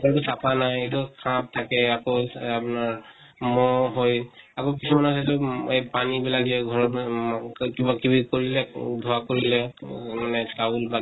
কোনো চাফা নাই, সাপ থাকে। আকৌ আপনাৰ মহ হৈ আকৌ পুৰণা সেইটোত এহ পানী বিলাক যে ঘৰৰ কিবা কিবি কৰিলে, ধোৱা কৰিলে ত মানে চৌল বাকি